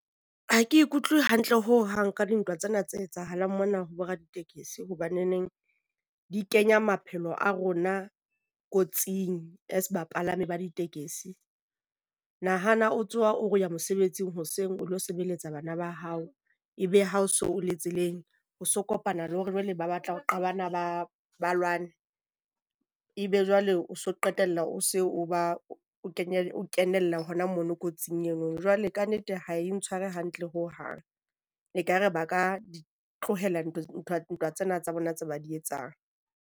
Ha ke utlwe hantle ho hang ka dintwa tsena tse etsahalang mona ho boraditekesi hobaneneng di kenya maphelo a rona kotsing as bapalami ba ditekesi. Nahana o tsoha o re o ya mosebetsing hoseng o lo sebeletsa bana ba hao. Ebe ha o so o le tseleng, o so kopana le hore jwale ba batla ho qabana, ba ba lwane. E be jwale o so qetella o se o ba o kenye o kenella hona mono kotsing eno, jwale kannete ha e ntshware hantle hohang. Ekare ba ka di tlohella ntwa tsena tsa bona tseo ba di etsang.